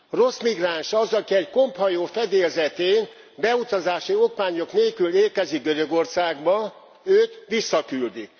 Rossz migráns az, aki egy komphajó fedélzetén beutazási okmányok nélkül érkezik Görögországba, őt visszaküldik.